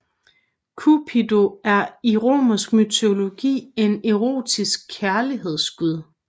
Cupido er i romersk mytologi en erotisk kærlighedsgud